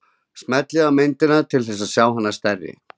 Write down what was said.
Smellið á myndina til þess að sjá hana stærri.